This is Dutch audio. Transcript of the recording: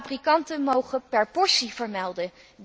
Fabrikanten mogen per portie vermelden.